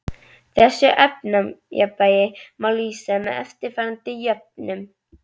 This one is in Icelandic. Þessu efnajafnvægi má lýsa með eftirfarandi jöfnum